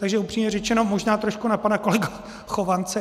Takže upřímně řečeno, možná trošku na pana kolegu Chovance.